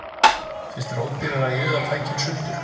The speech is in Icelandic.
Finnst þér ódýrara að juða tækin sundur